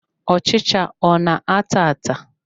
Ọchịcha ọ na-ata ata?